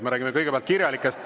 Me räägime kõigepealt kirjalikest …